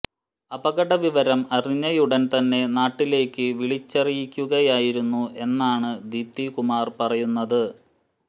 അപകടവിവരം അറിഞ്ഞയുടൻ തന്നെ നാട്ടിലേക്ക് വിളിച്ചറിയിക്കുകയായിരുന്നു എന്നാണ് ദീപ്തി കുമാർ പറയുന്നത്